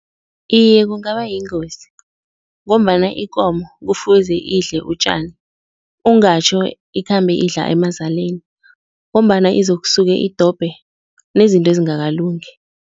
Iye, kungaba yingozi ngombana ikomo kufuze idle utjani ungatjho ikhambe idla emazaleni ngombana izokusuke idobhe nezinto ezingakalungi.